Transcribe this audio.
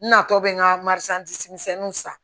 N natɔ bɛ n ka misɛnninw san